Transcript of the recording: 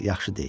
yaxşı deyil.